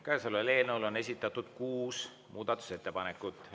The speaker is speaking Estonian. Käesoleva eelnõu kohta on esitatud kuus muudatusettepanekut.